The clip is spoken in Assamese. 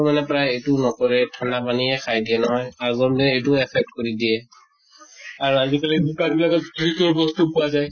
মানে প্ৰায়ে এইটো নকৰে, ঠান্ডা পানীয়ে খাই দিয়ে নহয়, এইটো affect কৰি দিয়ে। আৰু আজি কালি দোকানত বিলাকত fridge ৰ বস্তু পোৱা যায়।